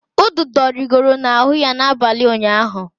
Ududo rigoro n'ahụ ya n'abalị ụnyaahụ.